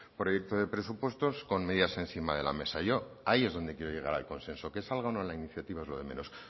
proyecto de presupuestos con medidas encima de la mesa yo ahí es donde quiero llegar al consenso que salga o no la iniciativa es lo de menos